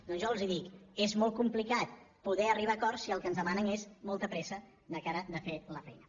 doncs jo els dic és molt complicat poder arribar a acords si el que ens demanen és molta pressa de cara a fer la feina